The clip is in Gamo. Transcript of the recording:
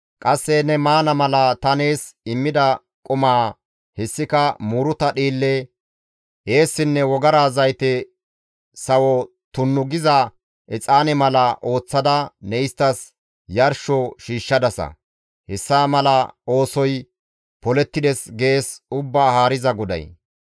Qasse ne maana mala ta nees immida qumaa, hessika muuruta dhiille, eessinne wogara zayte sawo tunnu giza exaane mala ooththada ne isttas yarsho shiishshadasa; hessa mala oosoy polettides» gees Ubbaa Haariza GODAY.